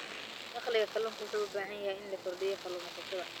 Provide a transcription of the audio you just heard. Dakhliga kalluunka wuxuu u baahan yahay inuu kordhiyo kalluumaysatada.